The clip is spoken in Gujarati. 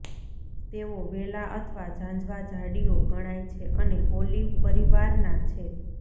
તેઓ વેલા અથવા ઝાંઝવાં ઝાડીઓ ગણાય છે અને ઓલિવ પરિવારના છે